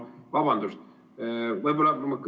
Vabandust!